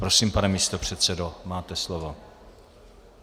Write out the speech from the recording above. Prosím, pane místopředsedo, máte slovo.